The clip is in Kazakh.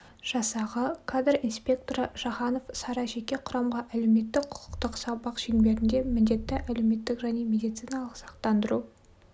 жасағы кадр инспекторы жаханов сара жеке құрамға әлеуметтік-құқықтық сабақ шеңберінде міндетті әлеуметтік және медициналық сақтандыру